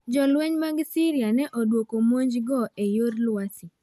Jolweny mag Syria ne odwoko monje go eyor lwasi